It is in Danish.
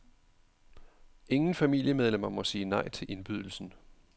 Ingen familiemedlemmer må sige nej til indbydelsen.